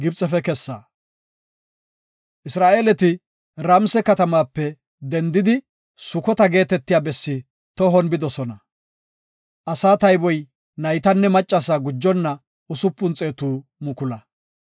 Isra7eeleti Ramse katamaape dendidi Sukota geetetiya bessi tohon bidosona. Asaa tayboy naytanne maccasaa gujonna usupun xeetu mukula.